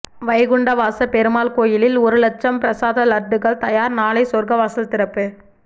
வைகுண்டவாச பெருமாள் கோயிலில்ஒரு லட்சம் பிரசாத லட்டுகள் தயாா் நாளை சொா்க்கவாசல் திறப்பு